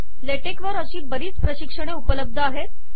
ले टेक वरील अशी बरीच प्रशिक्षणे उपलब्ध आहेत